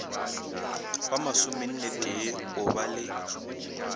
ba masomennetee o ba le